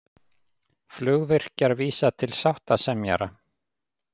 Flugvirkjar vísa til sáttasemjara